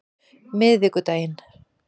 miðvikudaginn